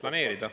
Palun!